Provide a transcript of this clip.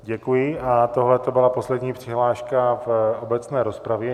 Děkuji a tohleto byla poslední přihláška v obecné rozpravě.